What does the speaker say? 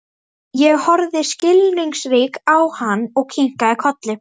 Ég horfði skilningsrík á hann og kinkaði kolli.